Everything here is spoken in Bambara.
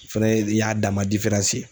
O fɛnɛ ye y'a dan ma ye.